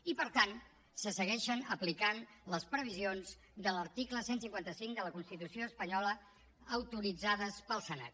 i per tant se segueixen aplicant les previsions de l’article cent i cinquanta cinc de la constitució espanyola autoritzades pel senat